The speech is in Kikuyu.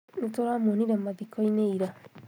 Nĩtũramuonire mathiko-inĩ ira